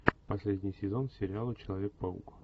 последний сезон сериала человек паук